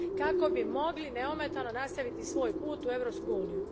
kako bi mogli neometano nastaviti svoj put u Europsku uniju.